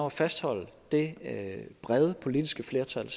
at fastholde det brede politiske flertal